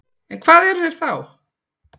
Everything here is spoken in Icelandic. En hvað eru þeir þá?